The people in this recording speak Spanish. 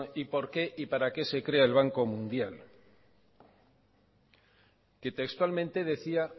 y por qué y para qué se crea el banco mundial que textualmente decía